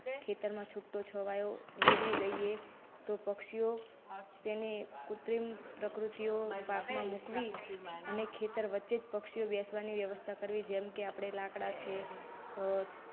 ખેતરમાં છૂટો છવાયો વેરવી દઈએ તો પક્ષિયો તેની કૃત્રિમ પ્રકૃતિઓ પાક માં મૂકવી. અને ખેતર વચ્ચે જ પક્ષીઓ બેસવાની વ્યવસ્થા કરવી. જેમ કે આપણે લાકડા છે.